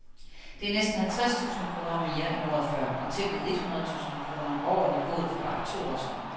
Det er næsten halvtreds tusinde kroner mere end året før og tæt ved et hundrede tusinde kroner over niveauet for bare to år siden.